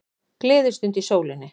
Gleðistund í sólinni